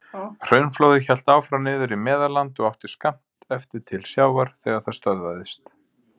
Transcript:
Hraunflóðið hélt áfram niður í Meðalland og átti skammt eftir til sjávar þegar það stöðvaðist.